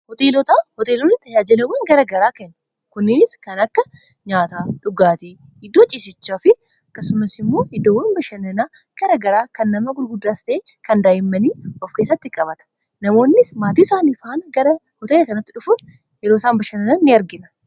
hoteelotaa hoteelonni tayaajilawwan gara garaa kanuu kunninniis kan akka nyaata dhugaatii iddoo ciisichaa fi akkasummaas hiddoowwan bashannanaa gara garaa kan nama gurguddaas tahee kan daa'immanii of keessatti qabataa namoonnis maatii isaanii faana gara hoteela kanaatti dhufuu yeroo isaan bashannanaa ini arginaa